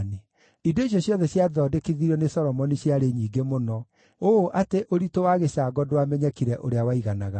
Indo icio ciothe ciathondekithirio nĩ Solomoni ciarĩ nyingĩ mũno, ũũ atĩ ũritũ wa gĩcango ndwamenyekire ũrĩa waiganaga.